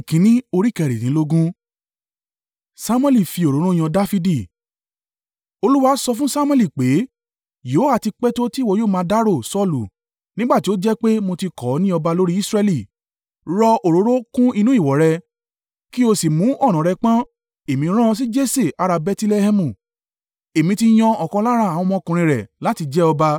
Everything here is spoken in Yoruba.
Olúwa sọ fún Samuẹli pé, “Yóò ha ti pẹ́ tó tí ìwọ yóò máa dárò Saulu, nígbà tí ó jẹ́ pé mo ti kọ̀ ọ́ ní ọba lórí Israẹli? Rọ òróró kún inú ìwo rẹ, kí o sì mú ọ̀nà rẹ pọ̀n, Èmi rán ọ sí Jese ará Bẹtilẹhẹmu. Èmi ti yan ọ̀kan lára àwọn ọmọkùnrin rẹ̀ láti jẹ ọba.”